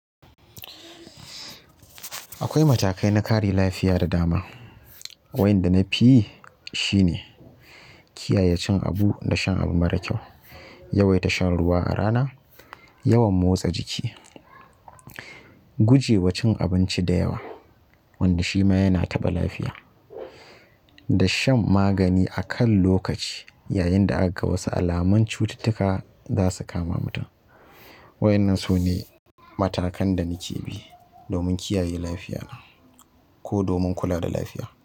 Akwai matakai na kare lafiya da dama. Waƴanda na fi yi shine kiyaye cin abu da shan abu mara kyau, yawaita shan ruwa a rana, yawan motsa jiki, gujewa cin abinci da yawa wanda shi ma yana taɓa lafiya da shan magani a kan lokaci yayin da aka ga wasu alaman cututtuka za su kama mutum. Waƴannan su ne matakan da nike bi domin kiyaye lafiya ko domin kula da lafiya.